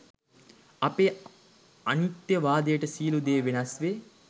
අපේ අනිත්යවාදයට සියලු දේ වෙනස් වේ